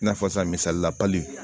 I n'a fɔ sisan misalila